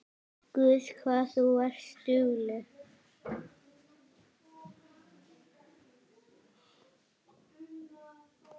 Guð hvað þú varst dugleg.